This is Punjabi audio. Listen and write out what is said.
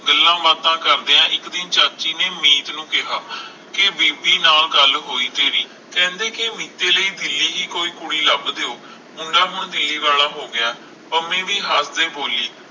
ਗੱਲਾਂ ਬਾਤਾਂ ਕਰਦਿਆਂ ਇਕ ਦਿਨ ਚਾਚੀ ਨੇ ਮੀਤ ਨੂੰ ਕਿਹਾ ਕਿ ਬੇਦੀ ਨਾਲ ਗੱਲ ਹੋਈ ਤੇਰੀ ਕਹਿੰਦੇ ਕਿ ਮੀਤੀ ਲਈ ਦਿੱਲੀ ਦੇ ਕੋਈ ਕੁੜੀ ਲੱਭ ਦਿਓ ਮੁੰਡਾ ਹੁਣ ਮੇਲ ਵਾਲਾ ਹੋਗਿਆ ਪੰਮੀ ਵੀ ਹੱਸਦਿਆਂ ਬੋਲੀ